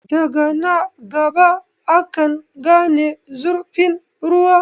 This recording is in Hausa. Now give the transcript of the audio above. Daga na gaba akan gane zurfin ruwa.